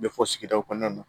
Bɛ fɔ sigidaw kɔnɔna na